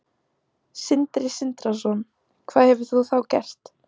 Sindri Sindrason: Hvað hefur þú þá gert?